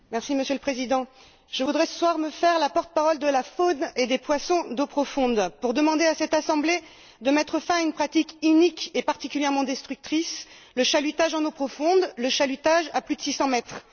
Monsieur le Président, je voudrais, ce soir, me faire la porte parole de la faune et des poissons d'eaux profondes pour demander à cette assemblée de mettre fin à une pratique inique et particulièrement destructrice, le chalutage en eaux profondes, le chalutage à plus de six cents mètres.